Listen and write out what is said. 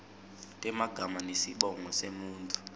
temagama nesibongo semuntfu